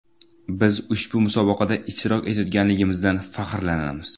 Biz ushbu musobaqada ishtirok etayotganligimizdan faxrlanamiz.